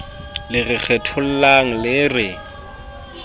le re kgethollang le re